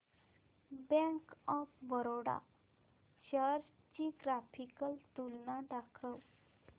bank of Baroda shares ची graphical तुलना दाखव